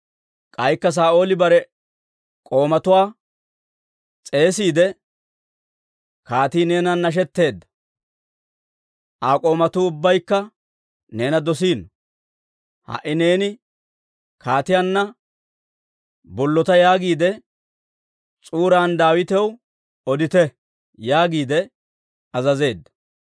K'aykka Saa'ooli bare k'oomatuwaa s'eesiide, «Kaatii neenan nashetteedda; Aa k'oomatuu ubbaykka neena dosiino; ha"i neeni kaatiyaanna bollota yaagiide s'uuran Daawitaw odite» yaagiide azazeedda.